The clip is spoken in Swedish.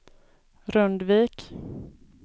Rundvik